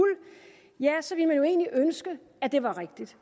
så ville man jo egentlig ønske at det var rigtigt